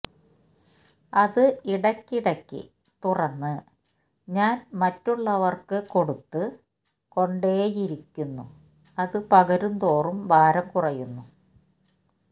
അത് ഇടയ്ക്കിടക്ക് തുറന്ന് ഞാൻ മറ്റുള്ളവർക്ക് കൊടുത്ത് കൊണ്ടേയിരിക്കുന്നു അത് പകരുന്തോറും ഭാരം കുറയുന്നു